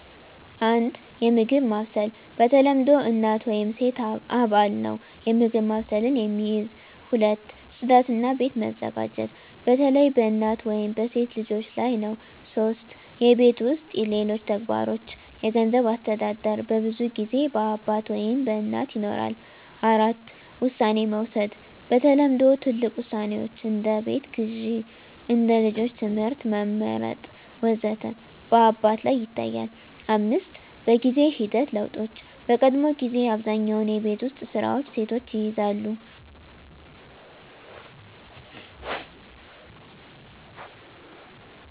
1. የምግብ ማብሰል በተለምዶ እናት ወይም ሴት አባል ነው የምግብ ማብሰልን የሚይዝ። 2. ጽዳት እና ቤት መዘጋጀት በተለይ በእናት ወይም በሴት ልጆች ላይ ነው 3. የቤት ውስጥ ሌሎች ተግባሮች የገንዘብ አስተዳደር በብዙ ጊዜ በአባት ወይም በእናት ይኖራል። 4. ውሳኔ መውሰድ በተለምዶ ትልቅ ውሳኔዎች (እንደ ቤት ግዢ፣ እንደ ልጆች ትምህርት መመርጥ ወዘተ) በአባት ላይ ይታያል፣ 5. በጊዜ ሂደት ለውጦች በቀድሞ ጊዜ አብዛኛውን የቤት ውስጥ ስራዎች ሴቶች ይይዛሉ